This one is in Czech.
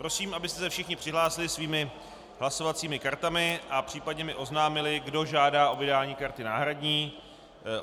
Prosím, abyste se všichni přihlásili svými hlasovacími kartami a případně mi oznámili, kdo žádá o vydání karty náhradní.